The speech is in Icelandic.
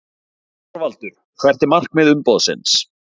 ÞORVALDUR: Hvert er markmið umboðsins?